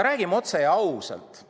Räägime otse ja ausalt.